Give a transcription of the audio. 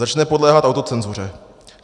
Začne podléhat autocenzuře.